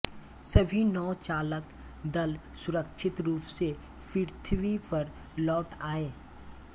सभी नौ चालक दल सुरक्षित रूप से पृथ्वी पर लौट आए